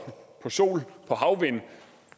sol havvind